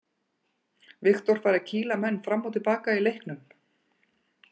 Viktor fær að kýla menn fram og til baka í leiknum.